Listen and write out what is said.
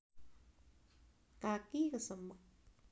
kaki kesemek